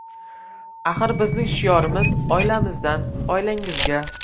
Axir bizning shiorimiz: oilamizdan oilangizga.